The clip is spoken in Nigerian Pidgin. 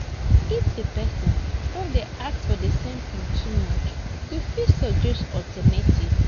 If di person don dey ask for the same thing too much, you fit suggest alternative